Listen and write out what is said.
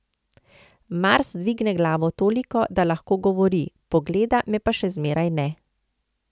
Mars dvigne glavo toliko, da lahko govori, pogleda me pa še zmeraj ne.